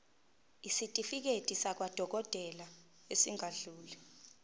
isitifiketi sakwadokodela esingadluli